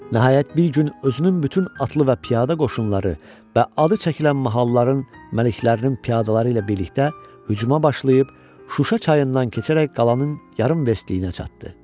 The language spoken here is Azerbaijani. Nəhayət bir gün özünün bütün atlı və piyada qoşunları və adı çəkilən mahalların məliklərinin piyadaları ilə birlikdə hücuma başlayıb, Şuşa çayından keçərək qalanın yarım verstliyinə çatdı.